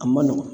A man nɔgɔn